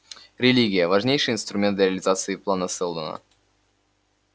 религия важнейший инструмент для реализации плана сэлдона